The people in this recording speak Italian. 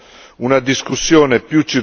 alcun ordine del giorno.